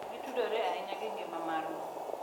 Gitudore ahinya gi ngima marwa .